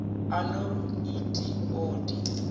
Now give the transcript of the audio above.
a no et o di